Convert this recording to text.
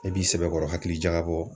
I b'i sɛbɛkɔrɔ hakili jagabɔ.